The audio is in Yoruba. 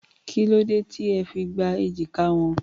Kí ló dé tí ẹ fi gbá èjìká wọn?